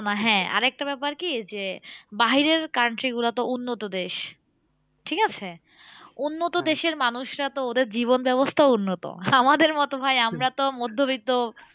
হ্যাঁ আরেকটা ব্যাপার কি? যে বাহিরের country গুলো তো উন্নত দেশ। ঠিকাছে? উন্নত দেশের মানুষরা তো ওদের জীবন ব্যাবস্থাও উন্নত। আমাদের মতো ভাই আমরা তো মধ্যবিত্ত